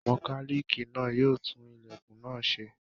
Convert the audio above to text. Mọkálíìkì náà yóò tún ilẹ̀kùn náà ṣe.